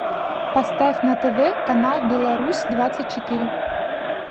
поставь на тв канал беларусь двадцать четыре